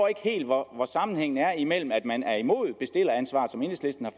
ikke helt hvor hvor sammenhængen er imellem at man er imod bestilleransvar som enhedslisten har